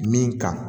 Min ka